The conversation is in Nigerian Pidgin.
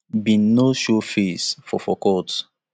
bin no show face for for court